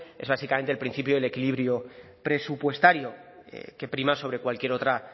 es básicamente el principio del equilibrio presupuestario que prima sobre cualquier otra